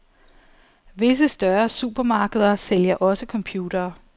Visse større supermarkeder sælger også computere.